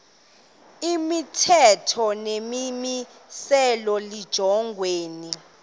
imithetho nemimiselo lijongene